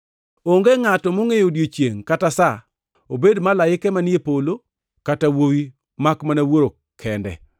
“Onge ngʼato mongʼeyo odiechiengno kata sa, obed malaike manie polo kata Wuowi, makmana Wuoro kende.